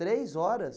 Três horas?